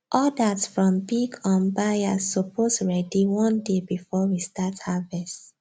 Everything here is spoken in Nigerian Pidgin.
orders from big um buyers suppose ready one day before we start harvest